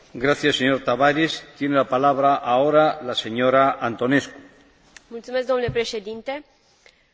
Încrederea publică, ca și cooperarea internațională în materie penală depind de calitatea sistemelor juridice naționale.